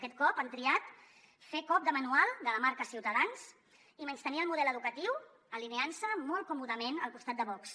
aquest cop han triat fer cop de manual de la marca ciutadans i menystenir el model educatiu alineant se molt còmodament al costat de vox